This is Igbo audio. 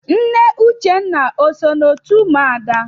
Nne Uchenna o so n'otu ụmụada?